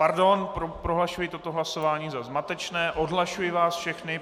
Pardon, prohlašuji toto hlasování za zmatečné, odhlašuji vás všechny.